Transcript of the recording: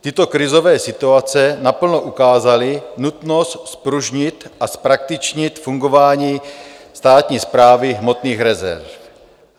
Tyto krizové situace naplno ukázaly nutnost zpružnit a zpraktičnit fungování Státní správy hmotných rezerv.